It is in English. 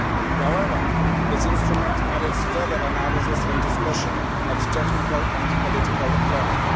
However, this instrument merits further analysis and discussion at technical and political level